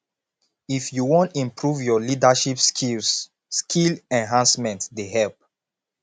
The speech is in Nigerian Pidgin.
if you wan improve your leadership skills skill enhancement dey help